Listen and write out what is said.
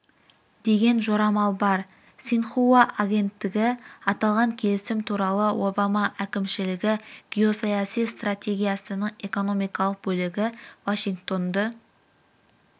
деген жорамал бар синьхуа агенттігі аталған келісім туралы обама әкімшілігі геосаяси стратегиясының экономикалық бөлігі вашингтонды